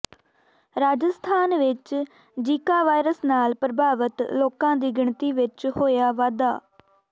ਰਾਜਸਥਾਨ ਵਿਚ Zika virus ਨਾਲ ਪ੍ਰਭਾਵਿਤ ਲੋਕਾਂ ਦੀ ਗਿਣਤੀ ਵਿਚ ਹੋਇਆ ਵਾਧਾ